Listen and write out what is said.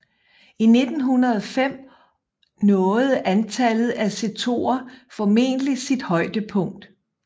I 1905 nåede antallet af setoer formentlig sit højdepunkt